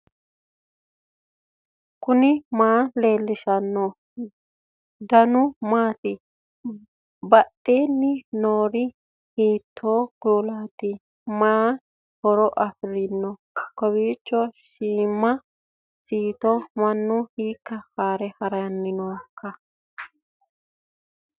knuni maa leellishanno ? danano maati ? badheenni noori hiitto kuulaati ? mayi horo afirino ? kowiicho siima siito mannu hiikka haare haranni nooikka